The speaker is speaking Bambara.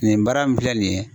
Nin baara min filɛ nin ye